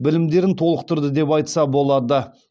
білімдерін толықтырды деп айтса болады